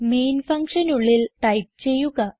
main ഫങ്ഷനുള്ളിൽ type ചെയ്യുക